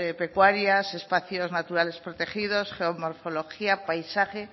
pecuarias espacios naturales protegidos geomorfología paisaje